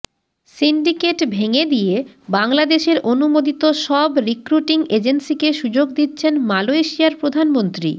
syndicate ভেংগে দিয়ে বাংলাদেশের অনুমোদিত সব রিক্রুটিং এজেন্সিকে সুযোগ দিচ্ছেন মালয়েশিয়ার প্রধানমন্ত্রী